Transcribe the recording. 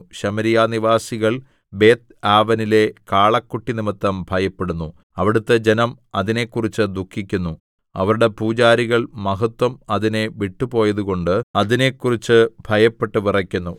ശമര്യാ നിവാസികൾ ബേത്ത്ആവെനിലെ കാളക്കുട്ടി നിമിത്തം ഭയപ്പെടുന്നു അവിടുത്തെ ജനം അതിനെക്കുറിച്ച് ദുഃഖിക്കുന്നു അവരുടെ പൂജാരികൾ മഹത്വം അതിനെ വിട്ടുപോയതുകൊണ്ട് അതിനെക്കുറിച്ച് ഭയപ്പെട്ട് വിറയ്ക്കുന്നു